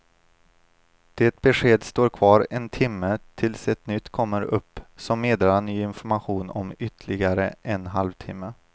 Det beskedet står kvar en timme tills ett nytt kommer upp som meddelar ny information om ytterligare en halv timme.